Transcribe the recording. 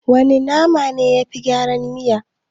Wana nama ne yafi gyara miya?